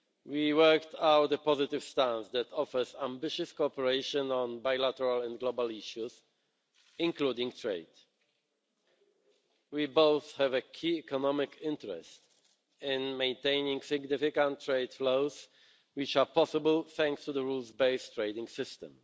We worked out a positive stance that offers ambitious cooperation on bilateral and global issues, including trade. We both have a key economic interest in maintaining significant trade flows, which are possible thanks to the rules based trading system.